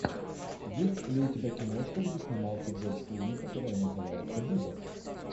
есть ли у тебя киношка где снимался джордж клуни которая называется буба